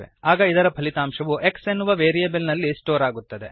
ಆಗ ಇದರ ಫಲಿತಾಂಶವು x ಎನ್ನುವ ವೇರಿಯಬಲ್ ನಲ್ಲಿ ಸ್ಟೋರ್ ಆಗುತ್ತದೆ